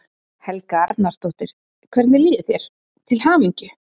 Helga Arnardóttir: Hvernig líður þér, til hamingju?